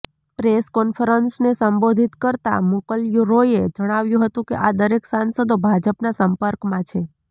press કોન્ફરન્સને સંબોધિત કરતા મુકલ રોયે જણાવ્યું હતું કે આ દરેક સાંસદો ભાજપના સંપર્કમાં છે